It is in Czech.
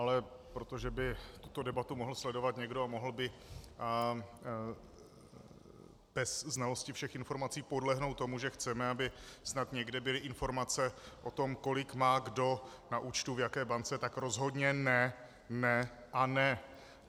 Ale protože by tuto debatu mohl sledovat někdo a mohl by bez znalosti všech informací podlehnout tomu, že chceme, aby snad někde byly informace o tom, kolik má kdo na účtu v jaké bance, tak rozhodně ne, ne a ne.